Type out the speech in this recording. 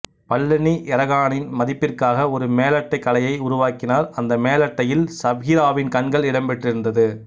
பவ்லனி எராகனின் பதிப்பிற்காக ஒரு மேலட்டைக் கலையை உருவாக்கினார் அந்த மேலட்டையில் சப்ஹிராவின் கண்கள் இடம்பெற்றிருந்தது